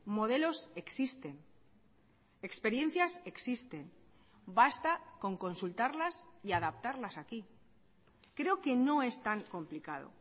modelos existen experiencias existen basta con consultarlas y adaptarlas aquí creo que no es tan complicado